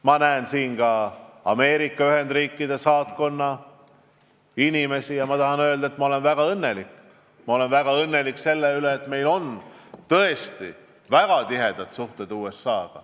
Ma näen siin ka Ameerika Ühendriikide saatkonna inimesi ja ma tahan öelda, et ma olen väga õnnelik selle üle, et meil on tõesti väga tihedad suhted USA-ga.